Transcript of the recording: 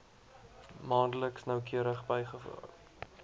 maandeliks noukeurig bygehou